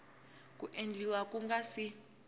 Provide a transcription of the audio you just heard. ku endliwa ku nga si